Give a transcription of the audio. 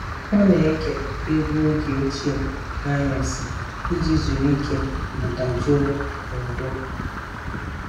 Ọ na-ege egwu oge ochie n'anyasị iji zuru ike ma dajụọ n'udo.